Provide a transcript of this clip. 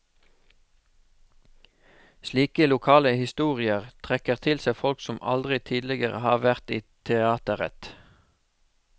Slike lokale historier trekker til seg folk som aldri tidligere har vært i teateret.